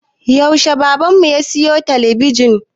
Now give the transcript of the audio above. Yaushe baban mu ya siyo talabijin?